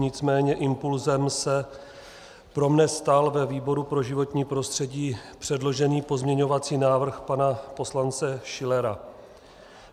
Nicméně impulsem se pro mne stal ve výboru pro životní prostředí předložený pozměňovací návrh pana poslance Schillera.